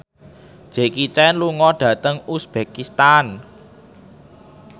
Jackie Chan lunga dhateng uzbekistan